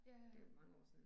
Ja ja